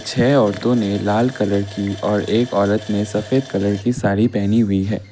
छ औरतों ने लाल कलर की और एक औरत ने सफेद कलर की सारी पहनी हुई है।